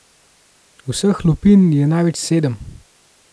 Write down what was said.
Vseh lupin je največ sedem.